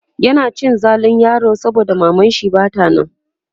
yana cin zalin yaron saboda mamanshi Bata nan